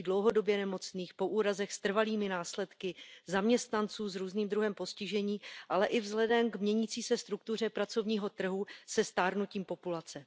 lidí dlouhodobě nemocných, po úrazech s trvalými následky, zaměstnanců s různým druhem postižení, ale i vzhledem k měnící se struktuře pracovního trhu se stárnutím populace.